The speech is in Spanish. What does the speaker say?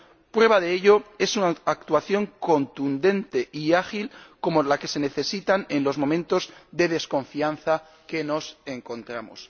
Prueba de ello es una actuación contundente y ágil como la que se necesita en los momentos de desconfianza en los que nos encontramos.